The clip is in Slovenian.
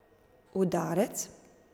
Udarec?